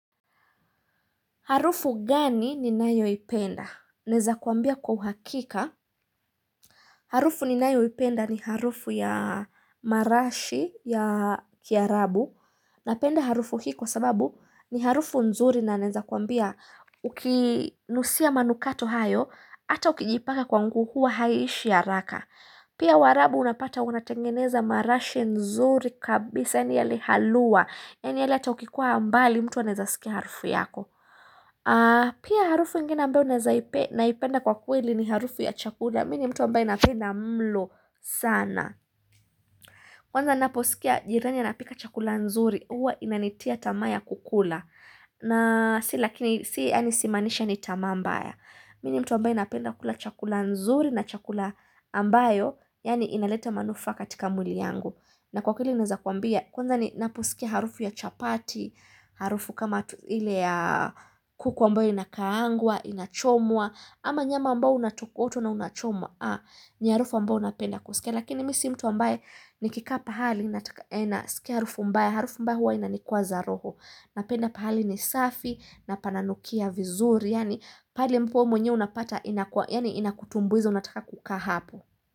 Harufu gani ni nayoipenda. Neza kuambia kwa uhakika. Harufu ni nayo ipenda ni harufu ya marashi ya kiarabu. Napenda harufu hii kwa sababu ni harufu nzuri na naweza kuambia ukinusia manukato hayo. Ata ukijipaka kwa nguo huwa haishi haraka. Pia warabu unapata unatengeneza marashi nzuri kabisa. Yaani yale haluwa. Yaani yalle ata ukikuwa mbali mtu anezasikia harufu yako. Pia harufu ingina ambayo naipenda kwa kweli ni harufu ya chakula Mini mtu ambayo napenda mlo sana Kwanza naposikia jiranya napika chakula nzuri Uwa inanitia tamaya kukula na si lakini si yani simanisha ni tamambaya Mini mtu ambayo inapenda kukula chakula nzuri na chakula ambayo inaleta manufaa katika mwili yangu na kwa kweli inazakuambia Kwanza ni naposikia harufu ya chapati Harufu kama tu ile ya kuku ambayo inakaangwa, inachomwa. Ama nyama ambao unatokotwa na unachomwa ni harufu ambayo napenda kusikia Lakini mi si mtu ambaye ni kikaa pahali Siki harufu mbaya, harufu mbaya harufu huwa inanikwaza roho. Napenda pahali ni safi na pananukia vizuri Yaani pale mpo mwenyewe unapata inakua Yaani inakutumbuiza unataka kukaa hapo.